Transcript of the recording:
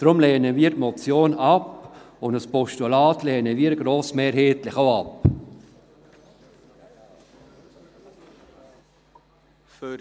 Darum lehnen wir die Motion ab, und ein Postulat lehnen wir grossmehrheitlich auch ab.